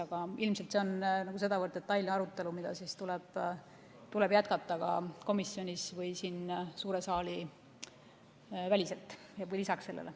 Aga ilmselt see on sedavõrd detailne arutelu, mida tuleb jätkata ka komisjonis või siin suure saali väliselt või lisaks sellele.